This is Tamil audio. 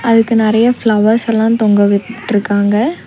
அதுக்கு நறையா ஃப்ளவர்ஸ் எல்லா தொங்கவிட் ட்ருக்காங்க.